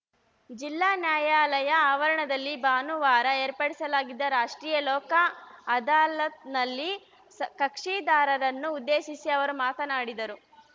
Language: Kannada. ಜಿಲ್ಲಾ ನ್ಯಾಯಾಲಯ ಆವರಣದಲ್ಲಿ ಭಾನುವಾರ ಏರ್ಪಡಿಸಲಾಗಿದ್ದ ರಾಷ್ಟ್ರೀಯ ಲೋಕ ಅದಾಲತ್‌ನಲ್ಲಿ ಸ ಕಕ್ಷಿದಾರರನ್ನು ಉದ್ದೇಶಿಸಿ ಅವರು ಮಾತನಾಡಿದರು